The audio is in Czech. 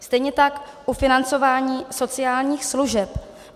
Stejně tak ufinancování sociálních služeb.